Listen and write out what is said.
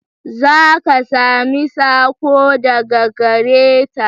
Za ka sami sako daga gare ta.